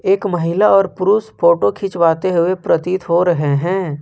एक महिला और पुरुष फोटो खिंचवाते हुए प्रतीत हो रहे हैं।